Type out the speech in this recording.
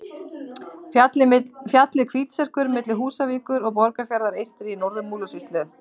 Fjallið Hvítserkur milli Húsavíkur og Borgarfjarðar eystri í Norður-Múlasýslu.